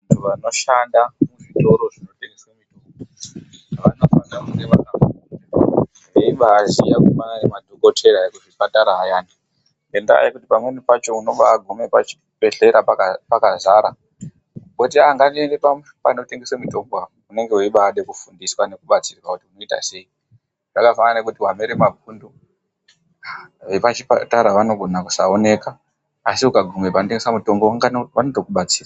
Vanoshanda muzvitoro zvinotengeswe mitombo vanofanira kunge vakafundiswa veibaaziya kudai ngemadhokodheya ekuzvipatara ayani ngendaa yekuti pamweni pakhona unobaaguma pachibhedhlera pakazara woti ahh ngandiende panotengeswe munotombo apo unenge weibaade kufundiswa nekubatsirwa kuti unoita sei zvakafanana nekuti wamere mapundu vepachipatara vanogona kusaoneka asi ukabvunza vanotengesa mitombo vanotokubatsira.